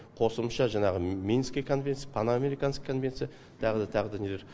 қосымша жаңағы мински конвенция паноамериканский конвенция тағы да тағы да нелер